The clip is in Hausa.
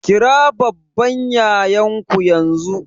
Kira babban yayan ku yanzu!